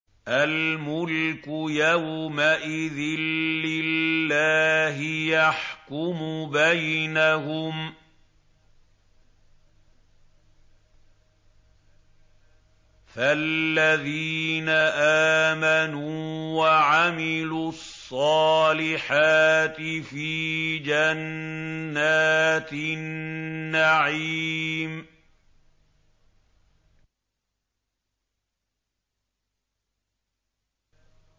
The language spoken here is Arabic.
الْمُلْكُ يَوْمَئِذٍ لِّلَّهِ يَحْكُمُ بَيْنَهُمْ ۚ فَالَّذِينَ آمَنُوا وَعَمِلُوا الصَّالِحَاتِ فِي جَنَّاتِ النَّعِيمِ